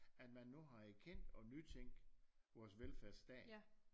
At man nu har erkendt og og nytænkt vores velfærdsstat